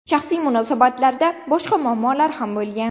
Shaxsiy munosabatlarda boshqa muammolar ham bo‘lgan.